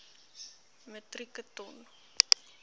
metrieke ton